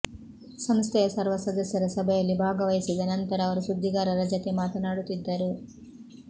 ಸಂಸ್ಥೆಯ ಸರ್ವ ಸದಸ್ಯರ ಸಭೆಯಲ್ಲಿ ಭಾಗವಹಿಸಿದ ನಂತರ ಅವರು ಸುದ್ದಿಗಾರರ ಜತೆ ಮಾತನಾಡುತ್ತಿದ್ದರು